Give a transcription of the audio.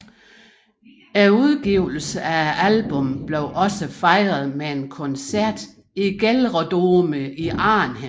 Udgivelsen af albummet blev også fejret med en koncert i GelreDome i Arnhem